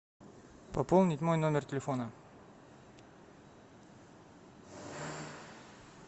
пополнить мой номер телефона